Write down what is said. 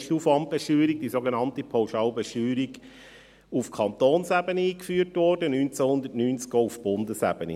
Damals wurde die Aufwandbesteuerung, die sogenannte Pauschalbesteuerung, auf Kantonsebene eingeführt, 1990 auch auf Bundesebene.